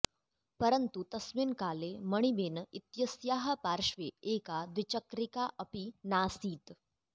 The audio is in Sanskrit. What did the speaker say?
परन्तु तस्मिन् काले मणिबेन इत्यस्याः पार्श्वे एका द्विचक्रिका अपि नासीत्